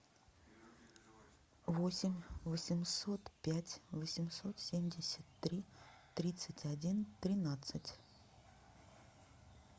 восемь восемьсот пять восемьсот семьдесят три тридцать один тринадцать